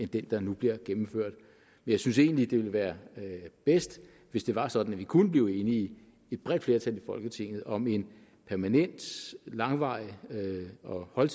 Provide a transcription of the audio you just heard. den der nu bliver gennemført jeg synes egentlig at det ville være bedst hvis det var sådan at vi kunne blive enige et bredt flertal i folketinget om en permanent langvarig og